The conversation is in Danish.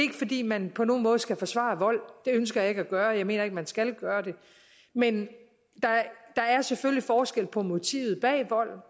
fordi man på nogen måde skal forsvare vold det ønsker jeg ikke at gøre og jeg mener ikke at man skal gøre det men der er selvfølgelig forskel på motivet bag volden